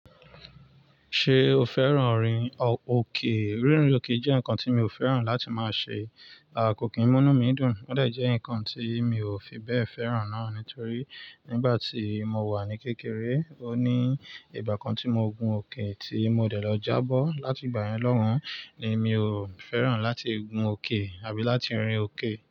Ṣé o fẹ́ràn rinrin òkè? Rínrin òkè jẹ́ nǹkan tí mi ò fẹ́ràn láti máa ṣe, à kó kí mu inu mi dùn, ó dà jẹ́ nǹkan tí mi ò fi bẹ́ẹ̀ fẹ́ràn náà nítorí nígbà tí mo wà ní kékeré, ó ní ìgbà kan tí mo gun òkè tí mo dẹ̀ lọ jábọ́ láti ìgbà yẹn lọun ni mi ò fẹ́ràn láti gun òkè àbí láti rin òkè.